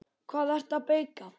Hvað ertu að bauka?